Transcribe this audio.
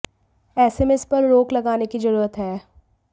ऐसे में इस पर रोक लगाने की जरूरत है